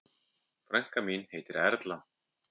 Frænka mín heitir Erla.